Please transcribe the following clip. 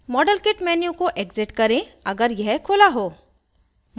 model kit menu को exit करें अगर यह खुला हो